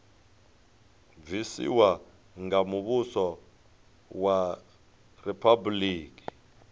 bvisiwa nga muvhuso wa riphabuliki